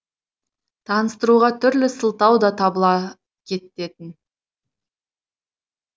таныстыруға түрлі сылтау да табыла кететін